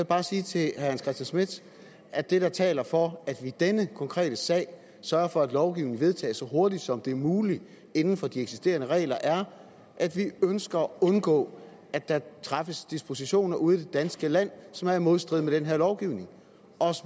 bare sige til herre hans christian schmidt at det der taler for at vi i denne konkrete sag sørger for at lovgivningen vedtages så hurtigt som det er muligt inden for de eksisterende regler er at vi ønsker at undgå at der træffes dispositioner ude i det danske land som er i modstrid med den her lovgivning